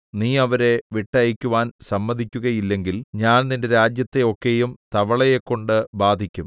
നീ അവരെ വിട്ടയയ്ക്കുവാൻ സമ്മതിക്കുകയില്ലെങ്കിൽ ഞാൻ നിന്റെ രാജ്യത്തെ ഒക്കെയും തവളയെക്കൊണ്ട് ബാധിക്കും